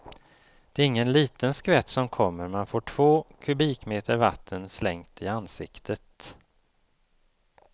Det är ingen liten skvätt som kommer, man får två kubikmeter vatten slängt i ansiktet.